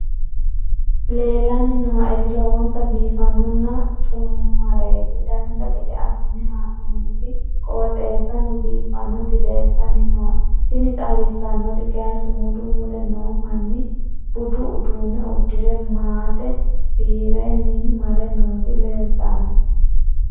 leellanni nooeri lowonta biiffinonna xumareeti dancha gede assine haa'noonniti qooxeessano biiffinoti leeltanni nooe tini xawissannori kayi sumudu mule noo manni budu uduunne uddire maate fiirenni mare nooti leeltanno